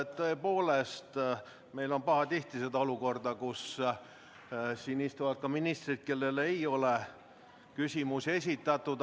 Tõepoolest, meil on pahatihti olnud olukord, kus siin istuvad ka ministrid, kellele ei ole küsimusi esitatud.